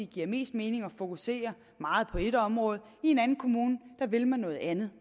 giver mest mening at fokusere meget på et område i en anden kommune vil man noget andet